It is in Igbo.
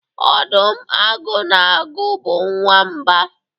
ọdụm, agụ na agụ bụ nwamba